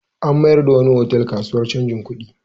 An mayar da wani otal kasuwar canjin kuɗi.